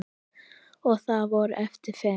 Og þá voru eftir fimm.